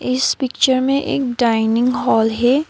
इस पिक्चर में एक डाइनिंग हाल है।